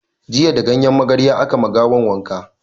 Jiya da ganyen magarya aka ma gawan wanka